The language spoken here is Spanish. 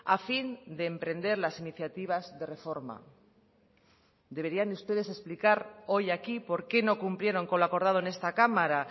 a fin de emprender las iniciativas de reforma deberían ustedes explicar hoy aquí porqué no cumplieron con lo acordado en esta cámara